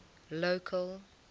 local